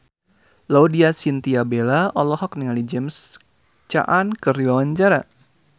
Laudya Chintya Bella olohok ningali James Caan keur diwawancara